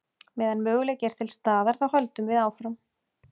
Meðan möguleiki er til staðar þá höldum við áfram.